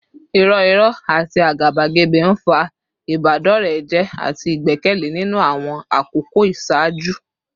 Irọ́ irọ́ àti àgàbàgebè ń fa ìbádọ́rẹ̀ẹ́ jẹ́ àti ìgbẹ́kẹ̀lé nínú àwọn àkókò ìṣáájú